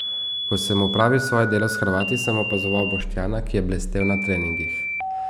Ko sem opravil svoje delo s Hrvati, sem opazoval Boštjana, ki je blestel na treningih.